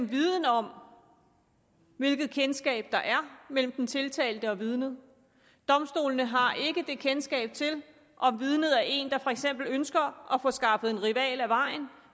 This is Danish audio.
viden om hvilket bekendtskab der er mellem den tiltalte og vidnet domstolene har ikke kendskab til om vidnet er en der for eksempel ønsker at få skaffet en rival af vejen